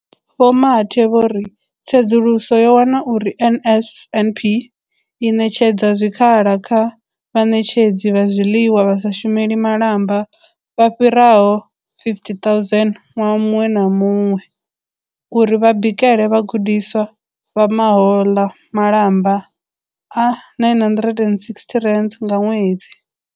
Vho Mathe vho ri, tsedzuluso yo wana uri NSNP i ṋetshedza zwikhala kha vhaṋetshedzi vha zwiḽiwa vha sa shumeli malamba vha fhiraho 50 000 ṅwaha muṅwe na muṅwe uri vha bikele vhagudiswa, vha ma hoḽa malamba a R960 nga ṅwedzi.